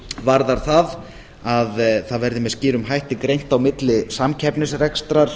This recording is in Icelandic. varðar það að það verði með skýrum hætti greint á milli samkeppnisrekstrar